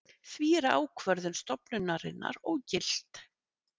Því er ákvörðun stofnunarinnar ógilt